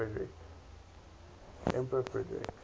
emperor frederick